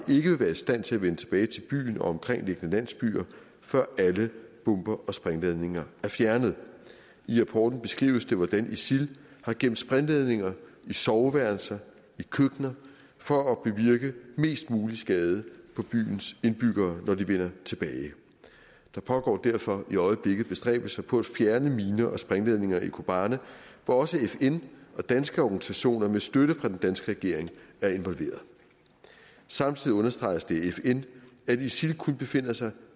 være i stand til at vende tilbage til byen og omkringliggende landsbyer før alle bomber og sprængladninger er fjernet i rapporten beskrives det hvordan isil har gemt sprængladninger i soveværelser og i køkkener for at bevirke mest mulig skade på byens indbyggere når de vender tilbage der pågår derfor i øjeblikket bestræbelser på at fjerne miner og sprængladninger i kobane hvor også fn og danske organisationer med støtte fra den danske regering er involveret samtidig understreges det af fn at isil kun befinder sig